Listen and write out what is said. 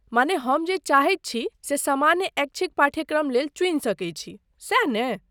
माने हम जे चाहै छी से सामान्य ऐच्छिक पाठ्यक्रम लेल चुनि सकै छी, सैह ने?